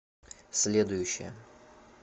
следующая